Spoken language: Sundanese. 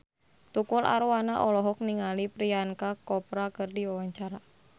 Tukul Arwana olohok ningali Priyanka Chopra keur diwawancara